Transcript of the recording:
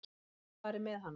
Það var farið með hana.